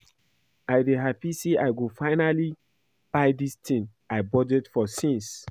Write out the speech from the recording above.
I dey happy say I go finally buy dis thing I budget for since